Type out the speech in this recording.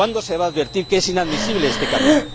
¿cuándo se va a advertir que es inadmisible este camino?.